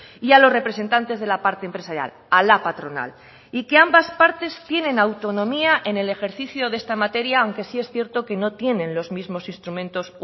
y a los representantes de la parte empresarial a la patronal y que ambas partes tienen autonomía en el ejercicio de esta materia aunque sí es cierto que no tienen los mismos instrumentos